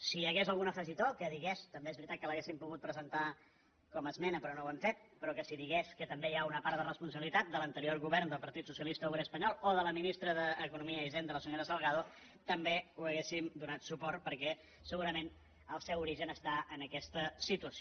si hi hagués algun afegitó que digués també és veritat que l’hauríem pogut presentar com a esmena però no ho hem fet que també hi ha una part de responsabilitat de l’anterior govern del partit socialista obrer espanyol o de la ministra d’economia i hisenda la senyora salgado també hi hauríem donat suport perquè segurament el seu origen està en aquesta situació